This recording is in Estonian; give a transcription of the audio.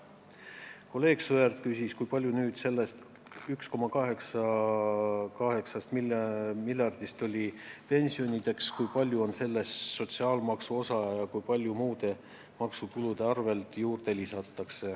Kolleeg Sõerd küsis pensionikulu kohta, mis on 1,8 miljardit: kui suur on sellest sotsiaalmaksu osa ja kui palju lisatakse juurde muude maksutulude arvel?